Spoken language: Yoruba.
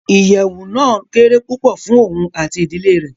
Ìyẹwu náa kére pupọ fùn oun ati ìdile rẹ